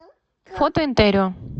фото интерио